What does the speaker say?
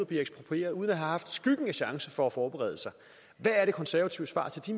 bliver eksproprieret uden at de har haft skyggen af chancen for at forberede sig hvad er de konservatives svar til de